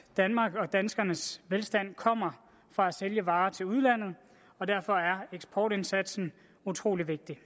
danmarks og danskernes velstand kommer fra at sælge varer til udlandet og derfor er eksportindsatsen utrolig vigtig